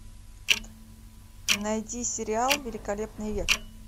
найди сериал великолепный век